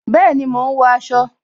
Bẹẹni, mo ń wọ aṣọ